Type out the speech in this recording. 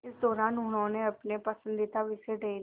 इस दौरान उन्होंने अपने पसंदीदा विषय डेयरी